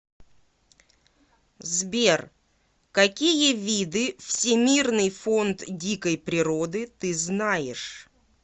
сбер какие виды всемирный фонд дикой природы ты знаешь